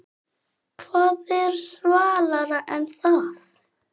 Hvað er svalara en það?